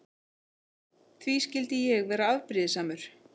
Því skyldi ég vera afbrýðisamur?